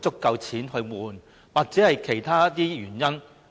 有沒有其他的原因？